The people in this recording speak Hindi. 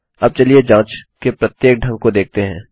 अब चलिए जाँच के प्रत्येक ढंग को देखते हैं